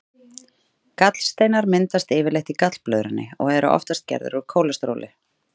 Gallsteinar myndast yfirleitt í gallblöðrunni og eru oftast gerðir úr kólesteróli.